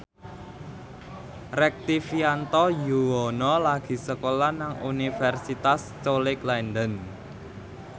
Rektivianto Yoewono lagi sekolah nang Universitas College London